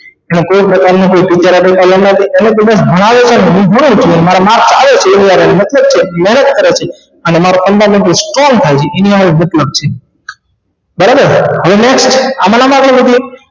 ના કોઇ પ્રકાર નો મારે mark આવે છે એની હારે મતલબ છે મહેનત કરવા થી અને નો strong થાય એની હારે જ મતલબ છે બરાબર સમજાઈ છે હમણાં મારે એવું થયું